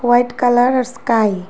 White colour আর sky.